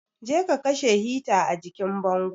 Je ka kashe hita a jikin bango.